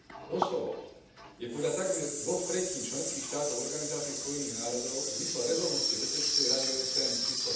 Kosovo je podľa takmer dvoch tretín členských štátov Organizácie Spojených národov v zmysle rezolúcie Bezpečnostnej rady OSN č.